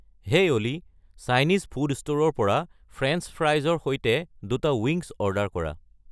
হেই Olly Chinese food ষ্টোৰৰ পৰা French ফ্ৰাইচৰ সৈতে দুটা ৱিংগছ অৰ্ডাৰ কৰা